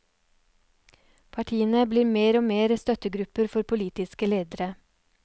Partiene blir mer og mer støttegrupper for politiske ledere.